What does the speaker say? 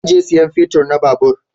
Zan je sayan fetir na babur